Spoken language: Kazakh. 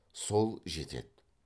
сол жетеді